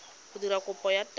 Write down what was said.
go dira kopo ya taelo